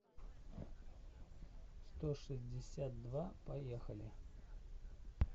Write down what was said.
сто шестьдесят два поехали